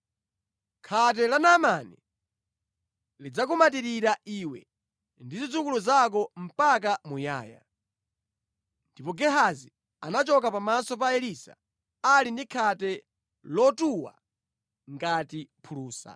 Khate la Naamani lidzakumatirira iwe ndi zidzukulu zako mpaka muyaya.” Ndipo Gehazi anachoka pamaso pa Elisa ali ndi khate lotuwa ngati phulusa.